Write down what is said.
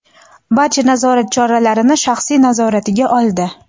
barcha nazorat choralarini shaxsiy nazoratiga oldi.